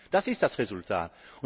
Das ist das Resultat.